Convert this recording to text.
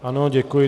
Ano, děkuji.